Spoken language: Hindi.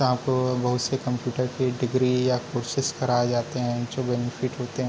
यहाँ पे बहुत सारे कंप्यूटर के डिग्री या कोर्सेज कराये जाते हैं जो बेनिफिट होते हैं।